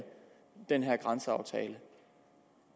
den her grænseaftale